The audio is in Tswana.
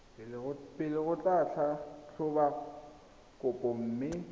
pele go tlhatlhoba kopo mme